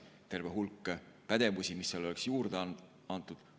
Terve hulk pädevusi, mis seal oleks juurde antud.